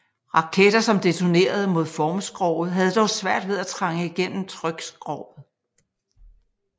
Raketter som detonerede mod formskroget havde dog svært ved at trænge igennem trykskroget